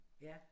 Ja